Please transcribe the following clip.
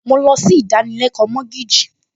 Mo lọ sí ìdánilẹ́kọ̀ọ́ mọ́gíìjì